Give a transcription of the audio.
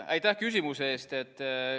Aitäh küsimuse eest!